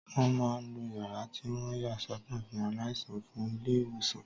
Wọ́n máa n lo yàrá tí wọ́n yà sọ́tọ̀ fún aláìsàn fún ilé-ìwòsàn